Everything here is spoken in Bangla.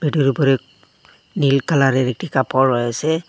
এটার উপরেক নীল কালারের একটি কাপড় রয়েসে।